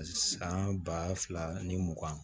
San ba fila ni mugan